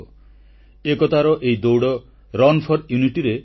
• ଦେଶ ଏକତ୍ରୀକରଣରେ ସର୍ଦ୍ଦାର ପଟେଲଙ୍କ ମହନୀୟ ଭୂମିକାକୁ ସ୍ମରଣ କଲେ ପ୍ରଧାନମନ୍ତ୍ରୀ